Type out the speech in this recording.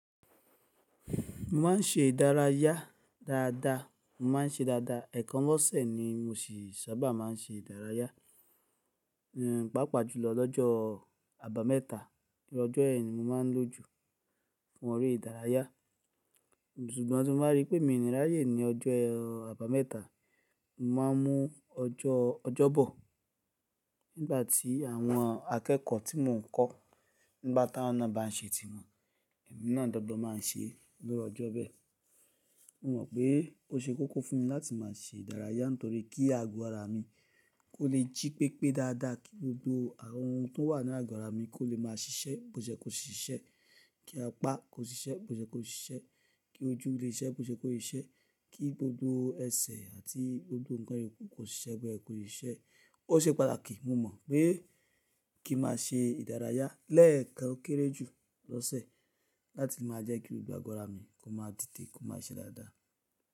Mo máa ń ṣe ìdárayá dáadáa, mo máa ń ṣe dáadáa. Ẹ̀ẹ̀kan lọ́sẹ̀ ni mo sì sábà máa ń ṣe ìdárayá, pàápàá jùlọ lọ́jọ́ àbámẹ́ta. Lójọ́ yen ni mo máa ń lòjò fún ere ìdárayá. Ṣùgbọ́n tí mo bá rí pé mi ní ráyè ní ọjọ́ àbámẹ́ta, mo máa ń mú ọjọ́, ọjọ́bọ̀. Nígbà tí àwọn akẹ́kọ̀ọ́ tí mò ń kọ́ nígbà táwọn náà bá ń ṣe tí wọn, èmi náà dọ́gbon máa ń ṣe lọ́jọ́ bẹ́ẹ̀. Mo mọ̀ pé ó ṣe kókó fún mi láti máa ṣe ìdárayá nítorí kí àgọ́ ara mi kó lè jí pépé dáadáa, kí gbogbo àwọn ohun tó wà nínú àgọ́ ara mi kó lè máa ṣiṣẹ́ bó ṣe kó ṣiṣẹ́, kí apá kó ṣiṣẹ́ bó ṣe kó ṣiṣẹ́, kí ojú lè ṣiṣẹ́ bó ṣe kó lè ṣiṣẹ́, kí gbogbo ẹsẹ̀ àti gbogbo ǹkan iyoku kó ṣiṣẹ́ bẹ́ẹ̀ kó ṣiṣẹ́. Ó ṣe pàtàkì, mo mọ̀ pé kí ma ṣe ìdárayá lẹ́ẹ̀kan ó kéré jù lọ́sẹ̀ láti máa jẹ́ kí gbogbo àgọ́ ara mi kó máa dìde, kó máa ṣe dáadáa.